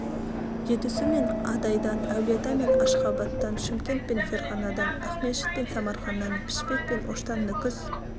жетісу мен адайдан әулиеата мен ашғабадтан шымкент пен ферғанадан ақмешіт пен самарқаннан пішпек пен оштан нүкіс